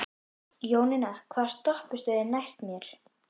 Jóninna, hvaða stoppistöð er næst mér?